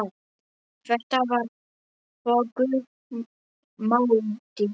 Þetta var þögul máltíð.